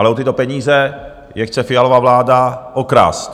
Ale o tyto peníze je chce Fialova vláda okrást.